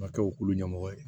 Ka kɛ olu ɲɛmɔgɔ ye